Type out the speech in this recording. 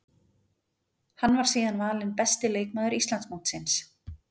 Hann var síðan valinn besti leikmaður Íslandsmótsins.